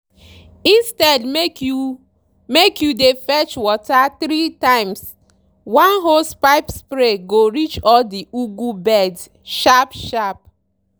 instead make you make you dey fetch water three times one hosepipe spray go reach all the ugu beds sharp sharp.